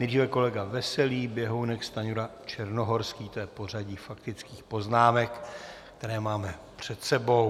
Nejdříve kolega Veselý, Běhounek, Stanjura, Černohorský - to je pořadí faktických poznámek, které máme před sebou.